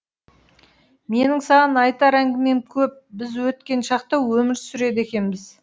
менің саған айтар әңгімем көп біз өткен шақта өмір сүреді екенбіз